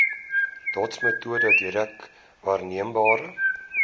dotsmetode direk waarneembare